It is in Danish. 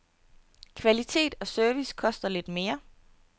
Kvalitet og service koster lidt mere.